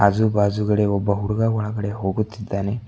ಆಜು ಬಾಜುಗಡೆ ಒಬ್ಬ ಹುಡುಗ ಒಳಗಡೆ ಹೋಗುತ್ತಿದ್ದಾನೆ.